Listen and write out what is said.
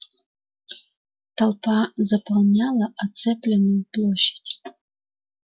толпа заполняла оцепленную площадь